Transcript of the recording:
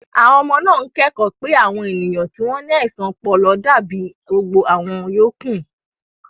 Àwọn ọmọ náà ń kẹ́kọ̀ọ́ pé àwọn ènìyàn tí wọ́n ní àìsàn ọpọlọ dàbí gbogbo àwọn yòókù.